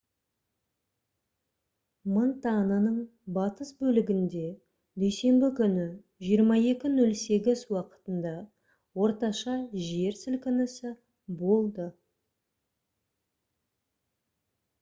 монтананың батыс бөлігінде дүйсенбі күні 22:08 уақытында орташа жер сілкінісі болды